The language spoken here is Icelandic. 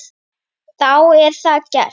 Þá er það gert.